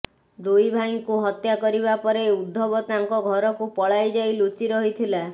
ଦୁଇ ଭାଇଙ୍କୁ ହତ୍ୟା କରିବା ପରେ ଉଦ୍ଧବ ତାଙ୍କ ଘରକୁ ପଳାଇ ଯାଇ ଲୁଚି ରହିଥିଲା